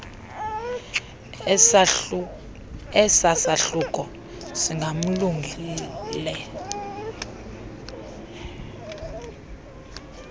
esa sahluko singamalungelo